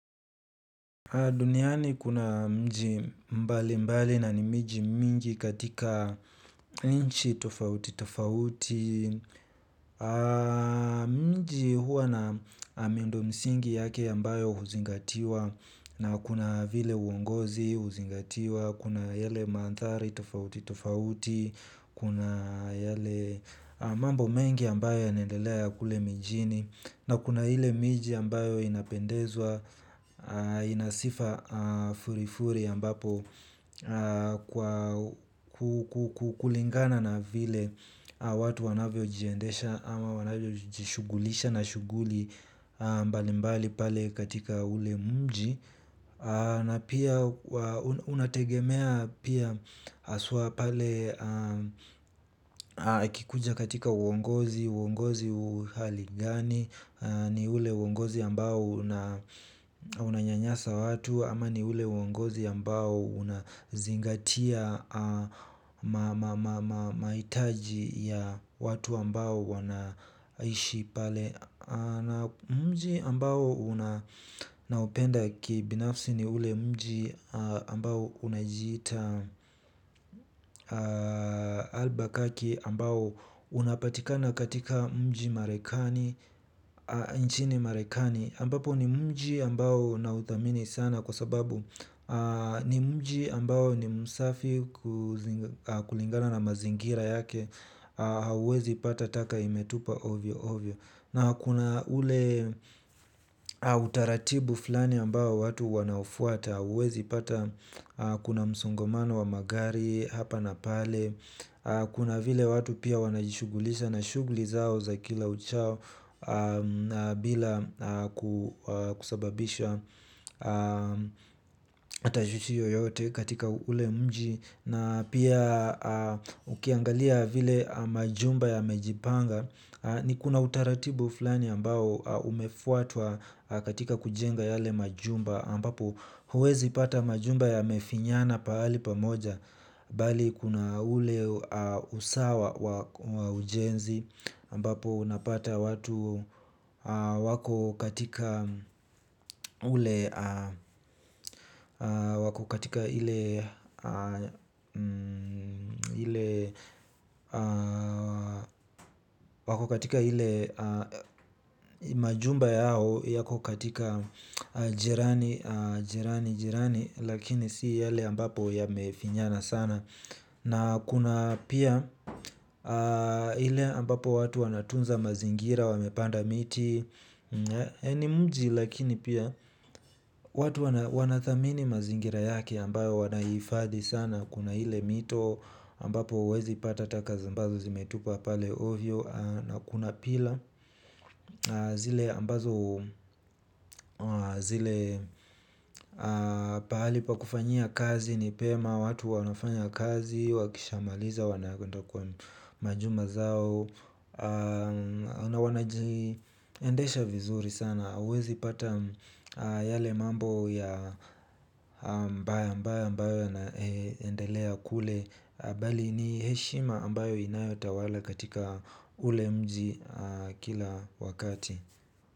Duniani kuna mji mbalimbali na ni miji mingi katika nchi tofauti tofauti. Mji huwa na miundo msingi yake ambayo huzingatiwa na kuna vile uongozi huzingatiwa. Kuna yale mandhari tofauti tofauti. Kuna yale mambo mengi ambayo yanaendelea kule mijini. Na kuna ile miji ambayo inapendezwa ina sifa furifuri ambapo kulingana na vile watu wanavyojiendesha ama wanavyojishughulisha na shughuli mbalimbali pale katika ule mji na pia unategemea pia haswa pale ukikuja katika uongozi uongozi hali gani. Ni ule uongozi ambao unanyanyasa watu ama ni ule uongozi ambao unazingatia mahitaji ya watu ambao wanaishi pale. Na mji ambao naupenda kibinafsi ni ule mji ambao unajiita Albuquerque ambao unapatika na katika mji marekani. Nchini marekani ambapo ni mji ambao nauthamini sana kwa sababu ni mji ambao ni msafi kulingana na mazingira yake. Hauwezi pata taka imetupwa ovyo ovyo na kuna ule utaratibu fulani ambao watu wanaufuata hauwezi pata kuna msongamano wa magari hapa na pale. Kuna vile watu pia wanajishughulisha na shughuli zao za kila uchao. Bila kusababisha tashwishi yoyote katika ule mji na pia ukiangalia vile majumba yamejipanga. Ni kuna utaratibu fulani ambao umefuatwa katika kujenga yale majumba ambapo hauwezi pata majumba yamefinyana pahali pamoja. Bali kuna ule usawa wa ujenzi ambapo unapata watu wako katika ule wako katika ile majumba yao yako katika jirani jirani jirani lakini si yale ambapo yamefinyana sana. Na kuna pia ile ambapo watu wanatunza mazingira, wamepanda miti ni mji lakini pia watu wanathamini mazingira yake ambayo wanaihifadhi sana kuna ile mito ambapo hauwezi pata taka ambazo zimetupwa pale ovyo na kuna pila zile ambazo zile pahali pa kufanyia kazi ni pema watu wanafanya kazi, wakishamaliza, wanaenda kwa majumba zao. Na wanajiendesha vizuri sana hauwezi pata yale mambo ya ambayo ambayo ambayo yanaendelea kule. Bali ni heshima ambayo inayotawala katika ule mji kila wakati.